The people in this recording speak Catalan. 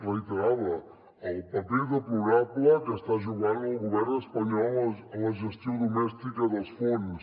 reiterava el paper deplorable que està jugant el govern espanyol en la gestió domèstica dels fons